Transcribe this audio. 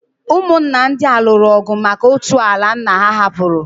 Ụmụnna ndị a lụrụ ọgụ maka otu ala nna ha hapụrụ.